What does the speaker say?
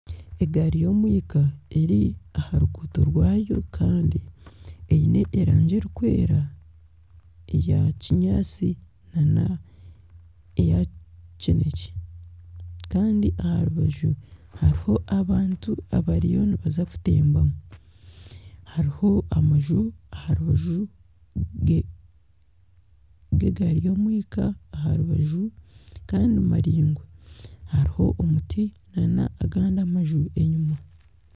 Egaari y'omwika eri aha ruguuto rwayo kandi eine erangi erikwera eya kinyaatsi nana eya kinekye kandi aha rubaju hariho abantu abariyo nibaza kutembamu hariho amanju aha rubaju rw'egaari y'omwika aha rubaju kandi maraingwa hariho omuti na n'agandi amanju enyuma.